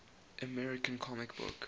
american comic book